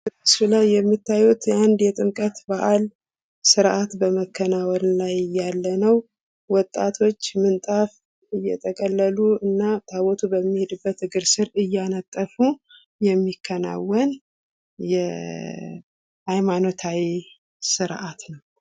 በምስሉ ላይ የምታዩት የጥምቀት በዓል ስርአት በመከናወን ላይ እያለ ነው። ወጣቶች ምንጣፍ እየጠቀለሉ እና ታቦቱ በሚሄድበት እግር ስር እያነጠፉ የሚከናወን የሐይማኖታዊ ስርዓት ነው።